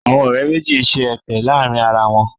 Àwọn ọ̀rẹ́ méjì ń ṣe Ẹ̀fẹ̀ láàrin ara wọn